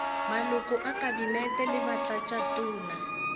maloko a kabinete le batlatšatona